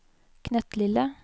knøttlille